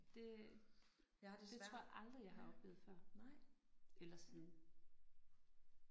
Det det tror jeg aldrig jeg har oplevet før. Eller siden